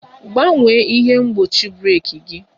Gbanwee ihe mgbochi breeki gi!